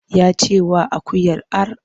Ya ce wa akuyar ar!